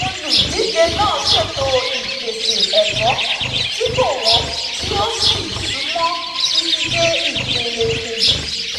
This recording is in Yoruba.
Olùdíje náà ṣètò ìpèsè ẹ̀kọ́ tí kò wọ́n tí ó sì súnmọ́ títí dé ìpele kejì.